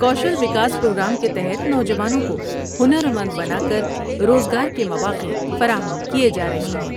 کوشل Vikas programme کے تحت نوجوانوں کو ہنرمند بنا کر روزگار کے مواقع فراہم کئے جار ہے ہیں ۔